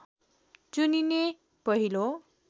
चुनिने पहिलो